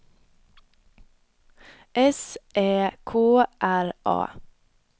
S Ä K R A